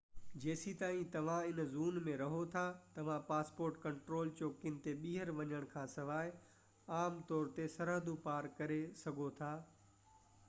جيستائين توهان هن زون ۾ رهو ٿا توهان پاسپورٽ ڪنٽرول چوڪين تي ٻيهر وڃڻ کانسواءِ عام طور تي سرحدون پار ڪري سگهو ٿا